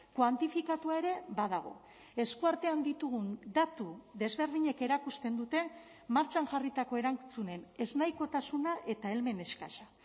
kuantifikatua ere badago eskuartean ditugun datu desberdinek erakusten dute martxan jarritako erantzunen ez nahikotasuna eta helmen eskasa